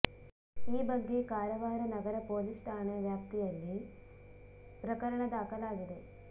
ಈ ಬಗ್ಗೆ ಕಾರವಾರ ನಗರ ಪೊಲೀಸ್ ಠಾಣೆ ವ್ಯಾಪ್ತಿಯಲ್ಲಿ ಪ್ರಕರಣ ದಾಖಲಾಗಿದೆ